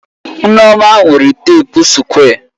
Nneoma nwere teepu sukwé.